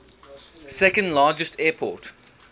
second largest airport